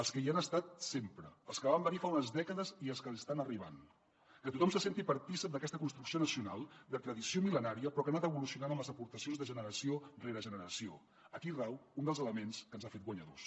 els que hi han estat sempre els que van venir fa unes dècades i els que estan arribant que tothom se senti partícip d’aquesta construcció nacional de tradició millenària però que ha anat evolucionant amb les aportacions de generació rere generació aquí rau un dels elements que ens ha fet guanyadors